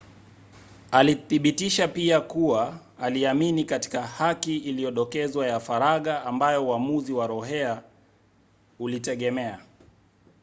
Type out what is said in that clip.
alithibitisha pia kuwa aliamini katika haki iliyodokezwa ya faragha ambayo uamuzi wa roe ulitegemea